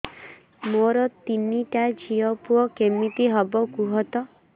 ମୋର ତିନିଟା ଝିଅ ପୁଅ କେମିତି ହବ କୁହତ